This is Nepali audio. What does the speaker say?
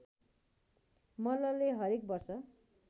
मल्लले हरेक वर्ष